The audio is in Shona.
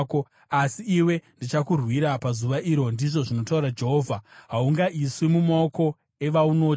Asi iwe ndichakurwira pazuva iro, ndizvo zvinotaura Jehovha, haungaiswi mumaoko evaunotya.